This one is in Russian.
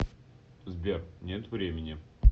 сбер нет времени